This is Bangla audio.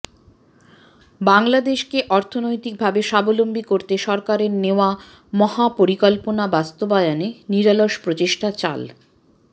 বাংলাদেশকে অর্থনৈতিকভাবে স্বাবলম্বী করতে সরকারের নেয়া মহাপরিকল্পনা বাস্তবায়নে নিরলস প্রচেষ্টা চাল